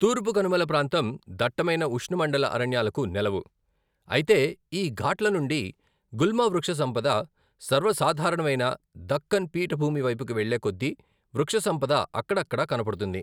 తూర్పు కనుమల ప్రాంతం దట్టమైన ఉష్ణ మండల అరణ్యాలకు నెలవు, అయితే ఈ ఘాట్ల నుండి గుల్మ వృక్షసంపద సర్వసాధారణమైన దక్కన్ పీఠభూమి వైపుకి వెళ్ళే కొద్దీ వృక్ష సంపద అక్కడక్కడా కనపడుతుంది.